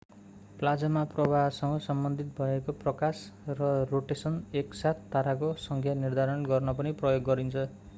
plasma प्रवाहसँग सम्बन्धित भएको प्रकाश र रोटेशन एक साथ ताराको संख्या निर्धारण गर्न पनि प्रयोग गरिन्छ